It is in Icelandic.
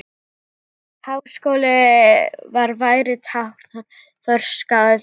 Háskóli vor væri tákn þroska og friðar.